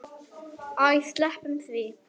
Æ, sleppum því.